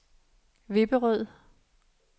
Vipperød